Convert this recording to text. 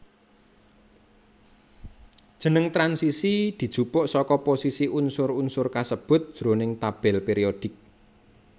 Jeneng transisi dijupuk saka posisi unsur unsur kasebut jroning tabel périodik